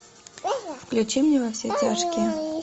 включи мне во все тяжкие